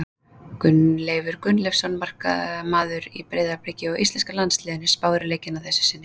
Gunnleifur Gunnleifsson, markvörður í Breiðabliki og íslenska landsliðinu, spáir í leikina að þessu sinni.